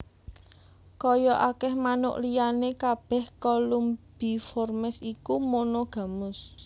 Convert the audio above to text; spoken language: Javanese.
Kaya akèh manuk liyané kabèh Columbiformes iku monogamus